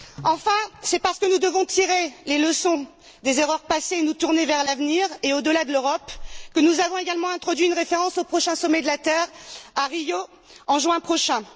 Enfin, c'est parce que nous devons tirer les leçons des erreurs passées et nous tourner vers l'avenir, et au delà de l'Europe, que nous avons également introduit une référence au prochain sommet de la terre, à Rio, en juin prochain.